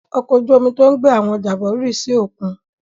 Ọkọ̀ ojú-omi tó ń gbé àwọn ọjà bọ̀ rì sí òkun.